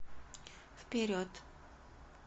вперед